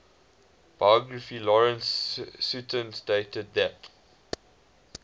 biographer lawrence sutin stated that